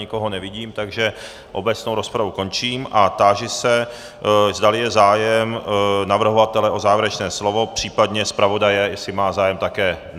Nikoho nevidím, takže obecnou rozpravu končím a táži se, zdali je zájem navrhovatele o závěrečné slovo, případně zpravodaje, jestli má zájem také.